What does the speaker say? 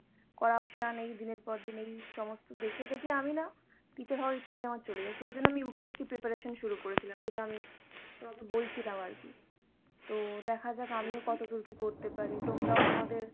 corruption, এই দিনের পর দিন এই সমস্ত দেখে দেখে আমি না teacher হওয়ার ইচ্ছাটাই আমার চলে যায়। সেইজন্য আমি UPSC preparation শুরু করেছিলাম, যেটা আমি তোমাকে বলছিলাম আরকি। তো দেখা যাক আমিও কতদূর কী করতে পারি। তোমরাও তোমাদের